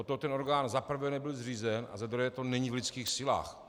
Od toho ten orgán za prvé nebyl zřízen a za druhé to není v lidských silách.